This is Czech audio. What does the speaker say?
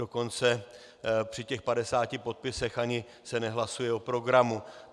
Dokonce při těch 50 podpisech se ani nehlasuje o programu.